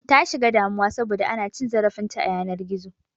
Ta shiga damuwa saboda ana cin zarafin ta a yanar gizo